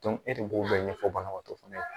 e de b'o bɛɛ ɲɛfɔ banabaatɔ fɛnɛ ye